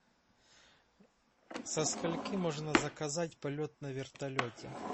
со скольки можно заказать полет на вертолете